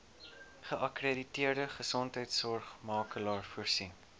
geakkrediteerde gesondheidsorgmakelaar voorsien